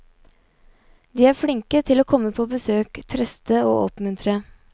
De er flinke til å komme på besøk, trøste og oppmuntre.